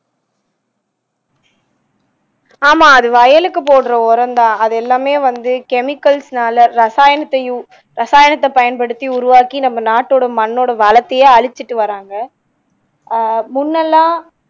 ஆமா அது வயலுக்கு போடுற உரம்தான் அது எல்லாமே வந்து chemicals நால ரசாயனத்தையும் ரசாயனத்தை பயன்படுத்தி உருவாக்கி நம்ம நாட்டோட மண்ணோட வளத்தையே அழிச்சுட்டு வர்றாங்க ஆஹ் முன்னெல்லாம்